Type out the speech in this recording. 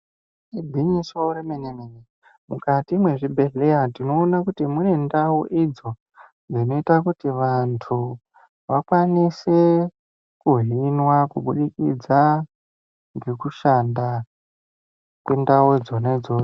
Igwinyiso remene-mene, mukati mwezvibhehleya tinoona kuti munendau idzo dzinoita kuti vantu vakwanise kuhinwa kubudikidza ngekushanda kwendau dzona idzo.